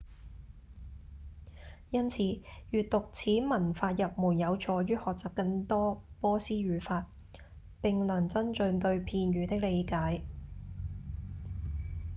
因此閱讀此文法入門有助於學習更多波斯語法並能增進對片語的理解